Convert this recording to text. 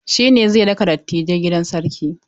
Shine zai raka dattijai gidan sarki.